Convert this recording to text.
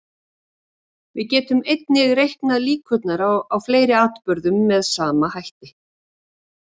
Við getum einnig reiknað líkurnar á fleiri atburðum með sama hætti.